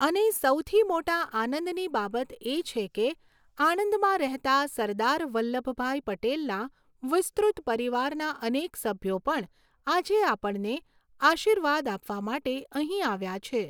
અને સૌથી મોટા આનંદની બાબત એ છે કે આણંદમાં રહેતા સરદાર વલ્લભભાઈ પટેલના વિસ્તૃત પરિવારના અનેક સભ્યો પણ આજે આપણને આશીર્વાદ આપવા માટે અહીં આવ્યા છે.